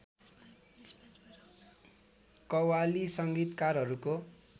qawwali संगीतकारहरूको